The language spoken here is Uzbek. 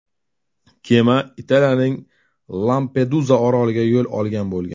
Kema Italiyaning Lampeduza oroliga yo‘l olgan bo‘lgan.